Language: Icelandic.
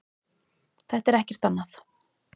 Þetta er ekkert annað.